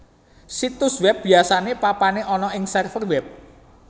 Situs web biasane papane ana ing server web